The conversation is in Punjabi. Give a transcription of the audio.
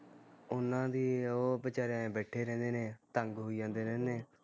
ਉਹਨਾਂ ਦੀ ਉਹ ਵਿਚਾਰੇ ਐ ਬੈਠੇ ਰਹਿੰਦੇ ਨੇ, ਤੰਗ ਹੋਈ ਜਾਂਦੇ ਰਹਿੰਦੇ ਨੇ